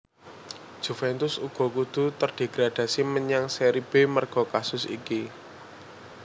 Juventus uga kudu terdegradasi menyang Seri B merga kasus iki